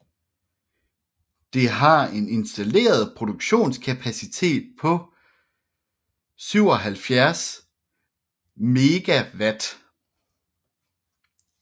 Det har en installeret produktionskapacitet på 77 MW